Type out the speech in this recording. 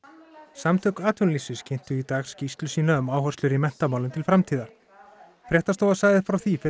samtök atvinnulífsins kynntu í dag skýrslu sína um áherslur í menntamálum til framtíðar fréttastofa sagði frá því fyrir